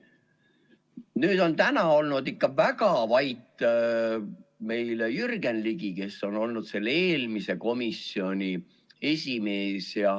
Nüüd, täna on olnud ikka väga vait meil Jürgen Ligi, kes on olnud eelmise komisjoni esimees.